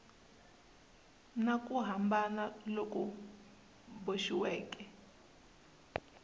na ku hambana loku boxiweke